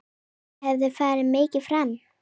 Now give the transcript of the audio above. Mér hefur farið mikið fram.